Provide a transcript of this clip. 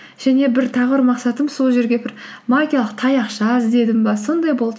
және бір тағы бір мақсатым сол жерге бір магиялық таяқша іздедім бе сондай болды